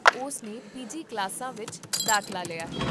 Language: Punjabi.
ਉਸ ਨੇ ਪੀਜੀ ਕਲਾਸਾਂ ਵਿੱਚ ਦਾਖਲਾ ਲਿਆ ਹੈ